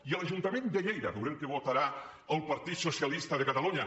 i a l’ajuntament de lleida veurem què votarà el partit socialista de catalunya